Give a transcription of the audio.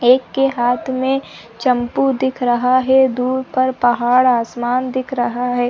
एक के हाथ में चंपू दिख रहा है दूर पर पहाड़ आसमान दिख रहा है |